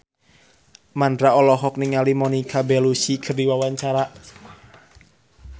Mandra olohok ningali Monica Belluci keur diwawancara